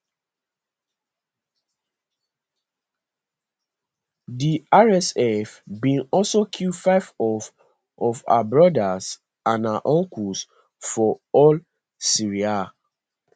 di rsf bin also kill five of of her brothers and her uncles for al seriha